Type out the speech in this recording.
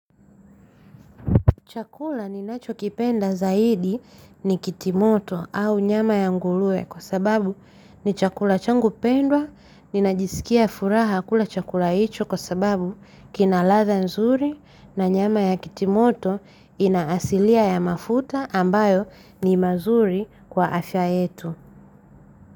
Chakula ninachokipenda zaidi ni kitimoto au nyama ya nguruwe kwa sababu ni chakula changu pendwa. Ninajisikia furaha kula chakula hicho kwa sababu kina ladha nzuri na nyama ya kitimoto inaasilia ya mafuta ambayo ni mazuri kwa afya yetu.